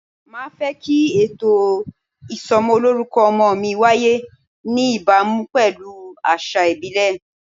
Màá fẹ́ kí ètò ìsọmọlórúkọ ọmọ mi wáyé ní ìbámu pelu àṣà ìbílẹ̀.